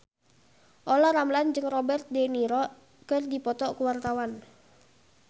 Olla Ramlan jeung Robert de Niro keur dipoto ku wartawan